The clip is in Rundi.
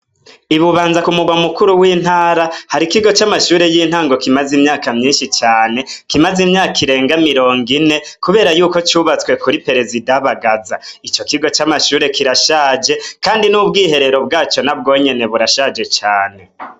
Ibubanza ku murwa mukuru w'intara hari ikigo c'amashure y'intango kimaze imyaka myinshi cane kimaze imyaka irenga mirongo ine, kubera yuko cubatswe kuri peresidabagaza ico kigo c'amashure kirashaje, kandi n'ubwiherero bwaco na bwonyene burashaje cane.